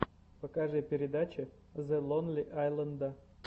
покажи передачи зе лонли айленда